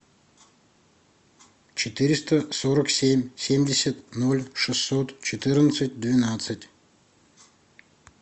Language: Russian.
четыреста сорок семь семьдесят ноль шестьсот четырнадцать двенадцать